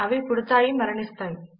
అవి పుడతాయి మరణిస్తాయి